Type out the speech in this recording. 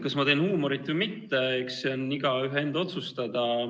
Kas ma teen huumorit või mitte, eks see on igaühe enda otsustada.